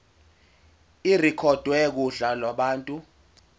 irekhodwe kuhla lwabantu